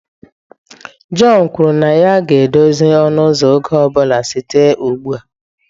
John kwuru na ya ga-edozi ọnụ ụzọ oge ọ bụla site ugbu a